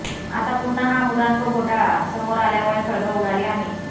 आता पुन्हा हा मुद्रांक घोटाळा समोर आल्यामुळे खळबळ उडाली आहे